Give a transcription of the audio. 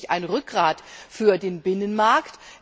Er ist wirklich ein Rückgrat für den Binnenmarkt.